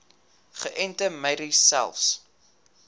geënte merries selfs